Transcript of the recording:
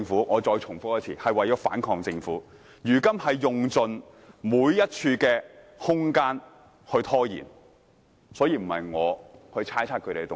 "，我再重複一次，是為了反抗政府，如今他們用盡每一處空間來拖延，並不是我猜測他們的動機。